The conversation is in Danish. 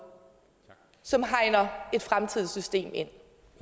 som hegner et fremtidigt system ind